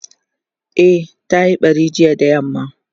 e ta Yi ɓari jiya da yamma